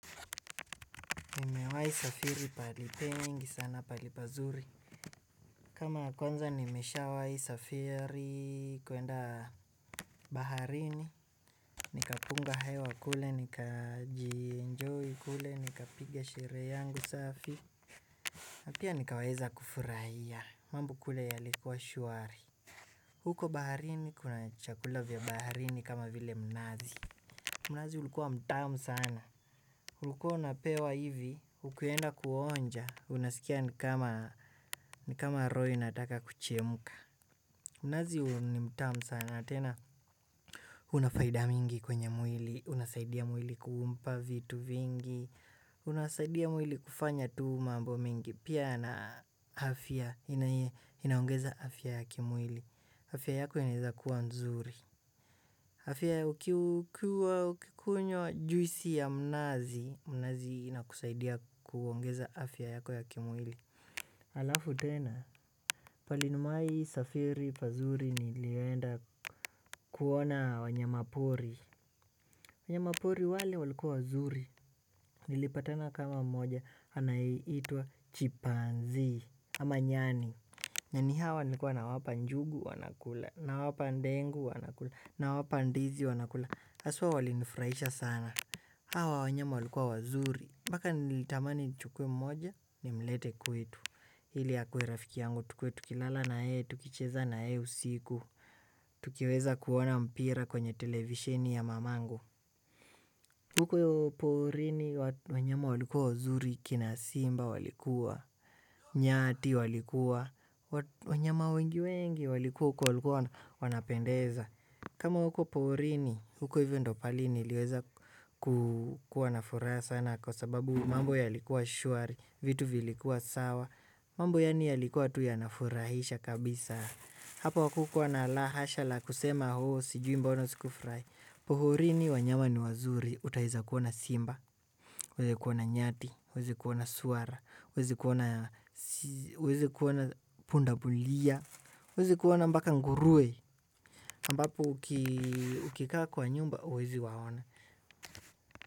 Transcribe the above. Umewai safiri palipengi sana palipazuri. Kama ya kwanza nimesha wai safiri kuenda baharini. Nikapunga hewa kule, nikajienjoy kule, nikapigia sherehe yangu safi. Na pia nikaweza kufurahia. Mambo kule yalikuwa shuari. Huko baharini kuna chakula vya baharini kama vile mnazi. Mnazi ulikuwa mtamu sana. Ulikuwa unapewa hivi, ukienda kuonja, unasikia ni kama roho inataka kuchemka. Mnazi ni mtamu sana tena. Unafaida mingi kwenye mwili, unasaidia mwili kumpa vitu vingi, unasaidia mwili kufanya tu mambo mingi. Pia na afya inaongeza afya ya kimwili. Afya yako inaiza kuwa nzuri. Afya ukikuwa ukikunywa juisi ya mnazi, mnazi inakusaidia kuongeza afya yako ya kimwili. Alafu tena, pahali nimewai safiri pazuri nilienda kuona wanyamapori. Wanyamapori wale walikuwa wazuri, nilipatana kama mmoja, anayeitwa chipanzi ama nyani. Nani hawa nikuwa nawapa njugu wanakula, nawapa ndengu wanakula, na wapa ndizi wanakula Aswa walinifahisha sana. Hawa wanyama walikuwa wazuri. Mpaka nilitamani nichukue mmoja nimlete kwetu. Hili akuwe rafiki yangu tukuwe tukilala na yeye. Tukicheza na yeye usiku. Tukiweza kuona mpira kwenye televishini ya mamangu. Huko porini wanyama walikuwa wazuri kina simba walikuwa nyati walikuwa wanyama wengi wengi walikuwa huko walikuwa wanapendeza huko niliweza kuwa na furaha sana, kwa sababu mambo ya likuwa shuari vitu vilikuwa sawa mambo yalikuwa tu yanafurahisha kabisa hapa hapakukuwa na la hasha la kusema sijui mbona sikufurahia porini wanyama ni wazuri utaeza kuona simba uweze kuona nyati uwezekuona swara uwezekuona pundamilia uwezikuona mpaka nguruwe ambao ukikaa kwa nyumba uweziwaona.